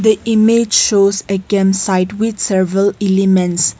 a image shows a camp site with several elements.